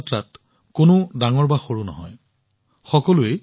পান্ধৰপুৰ যাত্ৰাত কোনো ডাঙৰ বা সৰু নাথাকে